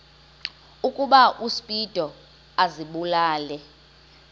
ukuba uspido azibulale